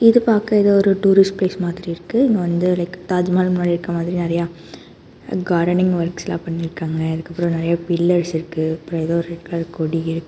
இது பாக்க எதோ ஒரு டூரிஸ்ட் ப்ளேஸ் மாதிரி இருக்கு இங்க வந்து லைக் தாஜ்மஹால் முன்னாடி இருக்க மாதிரி நெறைய கார்டனிங் வொர்க்ஸ்லா பண்ணிருக்காங்க அதுக்கப்பற நெறைய பில்லர்ஸ் இருக்கு அப்றோ ஏதோ ரெட் கலர்ல கொடி இருக்கு.